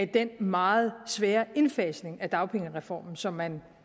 den meget svære indfasning af dagpengereformen som man